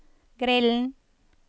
grillen